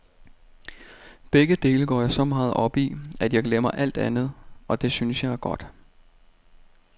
Begge dele går jeg så meget op i, at jeg glemmer alt andet, og det synes jeg er godt.